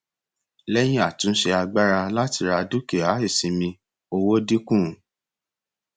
lẹyìn àtúnṣe agbára láti ra dúkìá ìsinmi owó dínkù